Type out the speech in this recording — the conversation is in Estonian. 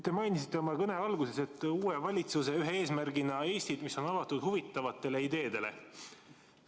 Te mainisite oma kõne alguses, et uue valitsuse üks eesmärk on Eesti, mis on avatud huvitavatele ideedele.